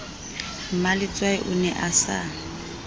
mmaletswai o ne a sa